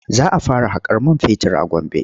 Za a fara haƙar man fetur a Gombe.